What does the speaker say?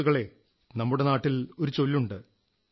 സുഹൃത്തുക്കളേ നമ്മുടെ നാട്ടിലൊരു ചൊല്ലുണ്ട്